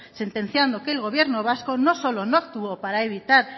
sentenciando que el gobierno vasco no solo no actuó para evitar